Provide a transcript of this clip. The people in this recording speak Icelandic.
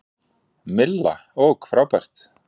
Milla: Ok frábært.